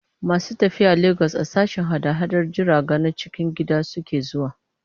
Masu tafiya Legas a sashen hada-hadar jiraga na cikin gida suke zuwa.